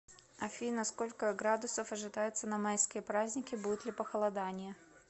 афина сколько градусов ожидается на майские праздники будет ли похолодание